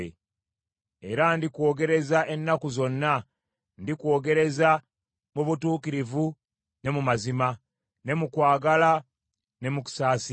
Era ndikwogereza ennaku zonna, ndikwogereza mu butuukirivu, ne mu mazima, ne mu kwagala ne mu kusaasira.